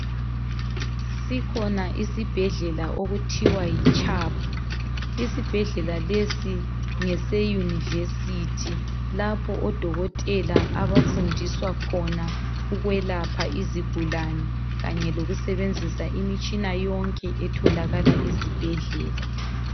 Sikhona isibhedlela okuthiwa yiChubb. Isibhedlela lesi ngese univesithi lapho odokotela abafundiswa khona ukwelapha izigulane, kanye lokusebenzisa imitshina yonke etholakala ezibhedlela.